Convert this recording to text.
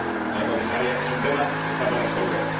Señora Comisaria, es un tema que está por resolver.